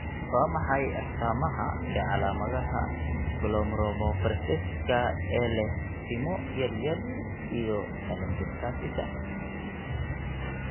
Waa maxay astamaha iyo calaamadaha Glomerulonephritiska ee leh timo yar iyo telangiectasiska?